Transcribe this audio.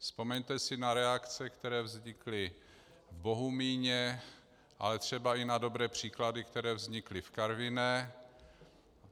Vzpomeňte si na reakce, které vznikly v Bohumíně, ale třeba i na dobré příklady, které vznikly v Karviné.